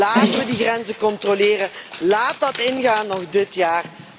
nu! Laten we die grenzen controleren! Laat dat ingaan, nog dit